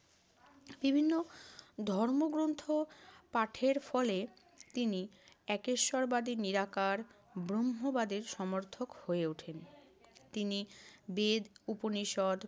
বিভিন্ন ধর্মগ্রন্থ পাঠের ফলে তিনি একেশ্বরবাদী নিরাকার ব্রহ্মবাদের সমর্থক হয়ে ওঠেন। তিনি বেদ, উপনিষদ,